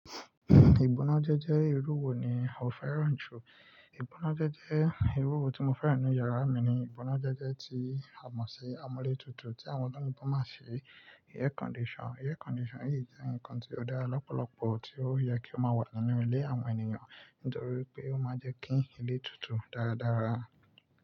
Ìgbónájẹ́jẹ́ irú wo ni o fẹ́ràn jù? Ìgbónájẹ́jẹ́ irú wo tí mo fẹ́ràn nínú yàrá mi ni ìgbónájẹ́jẹ́ tí a mọ̀ sí amúlétutù tí àwọn tó ní bó máa pe ni air condition. Air condition yìí jẹ́ nǹkan tí ó dára lọ́pọ̀lọpọ̀ tí ó yẹ kí ó máa wà nínú ilé àwọn ènìyàn nítorí pé ó máa ń jẹ́ kí ilé tutù dáradára.